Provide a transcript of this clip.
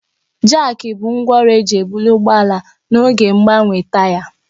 Jaaki bụ ngwá ọrụ eji ebuli ụgbọ ala n'oge mgbanwe taya.